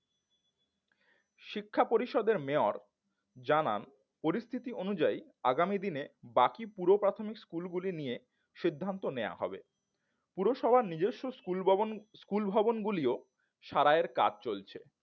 শিক্ষা পরিষদের mayor জানান পরিস্থিতি অনুযায়ী আগামী দিনে বাকি পুরো প্রাথমিক স্কুল গুলি নিয়ে সিদ্ধান্ত নেওয়া হবে পুরসভা নিজস্ব স্কুল ভবন স্কুল ভবনগুলিও সারাইয়ের কাজ চলছে